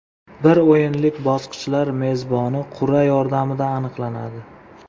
Bir o‘yinlik bosqichlar mezboni qur’a yordamida aniqlanadi.